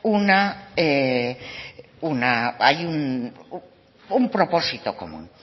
un propósito común